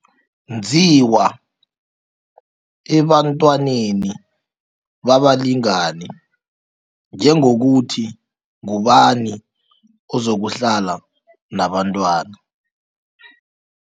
Nziwa ebantwaneni babalingani, njengokuthi ngubani ozokuhlala nabantwana.